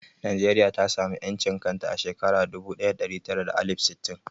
Najeriya ta samu ƴancin kanta a shekara dubu ɗaya da ɗari tara da alif sittin